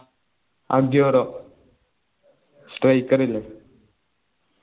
Aguero strike ഇല്ലേ